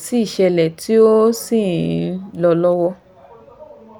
tí ìṣẹ̀lẹ̀ tí ó sì ń lọ lọ́wọ́